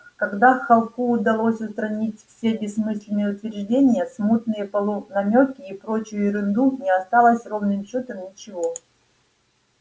когда холку удалось устранить все бессмысленные утверждения смутные полунамёки и прочую ерунду не осталось ровным счётом ничего